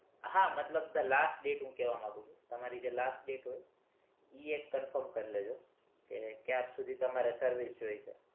હા મતલબ the last date કેવા માગું છુ તમારી જે last date હોય ઈ એક confirm કરી લેજો કે ક્યાર સુુુધી તમારે service જોઈ છે